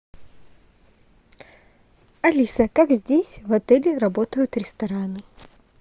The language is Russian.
алиса как здесь в отеле работают рестораны